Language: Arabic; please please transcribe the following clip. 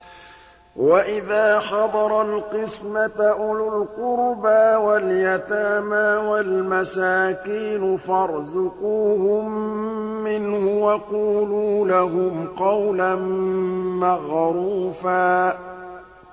وَإِذَا حَضَرَ الْقِسْمَةَ أُولُو الْقُرْبَىٰ وَالْيَتَامَىٰ وَالْمَسَاكِينُ فَارْزُقُوهُم مِّنْهُ وَقُولُوا لَهُمْ قَوْلًا مَّعْرُوفًا